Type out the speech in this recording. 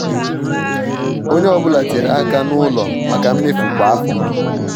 ònye ọ́bụ̀la tinyèrè aka n ụlọ maka mmefu kwa afọ.